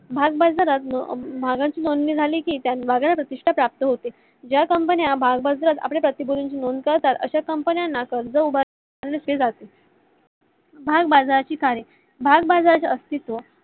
भागबाजारात झाले कि प्रतिष्टा प्राप्त होते. ज्या company आपल्या प्रतिकृतीची नोंदणी करतात अशा company ना कर्ज उभारणी केली जाते. भागाबाजारची कार्ये भागाबजारच अस्तित्व